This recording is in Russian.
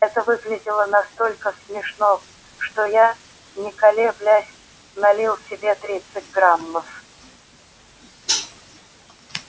это выглядело настолько смешно что я не колеблясь налил себе тридцать граммов